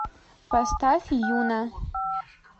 поставь юна